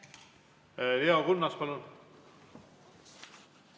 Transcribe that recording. Leo Kunnas, palun!